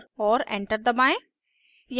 और enter दबाएं